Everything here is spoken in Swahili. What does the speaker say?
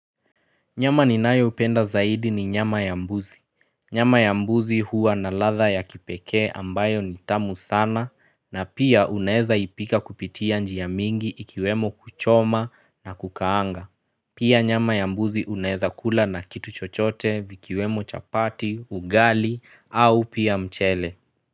Nyama ninayopenda zaidi ni nyama ya mbuzi. Nyama ya mbuzi huwa na ladha ya kipekee ambayo ni tamu sana na pia unaeza ipika kupitia njia mingi ikiwemo kuchoma na kukaanga. Pia nyama ya mbuzi unaeza kula na kitu chochote vikiwemo chapati, ugali au pia mchele.